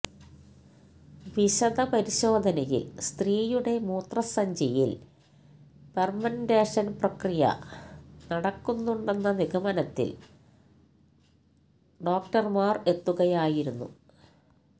വിശദ പരിശോധനയില് സ്ത്രീയുടെ മൂത്രസഞ്ചിയില് ഫെര്മന്റേഷന് പ്രക്രിയ നടക്കുന്നുണ്ടെന്ന നിഗമനത്തില് ഡോക്ടര്മാര് എത്തുകയായിരുന്നു